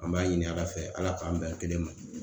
An b'a ɲini Ala fɛ Ala k'an bɛn kelen ma.